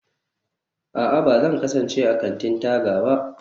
a'a, ba zai kasance a kantin-taga ba